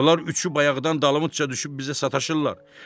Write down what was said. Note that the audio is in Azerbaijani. Bunlar üçü bayaqdan dalımıza düşüb bizə sataşırlar.